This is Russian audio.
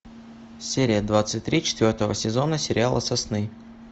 серия двадцать три четвертого сезона сериала сосны